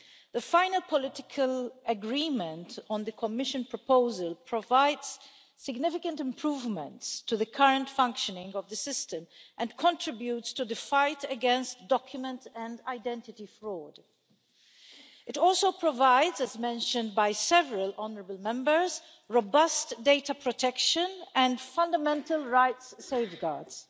The final political agreement on the Commission proposal provides significant improvements to the current functioning of the system and contributes to the fight against document and identity fraud. It also provides, as mentioned by several honourable Members, robust data protection and fundamental rights safeguards.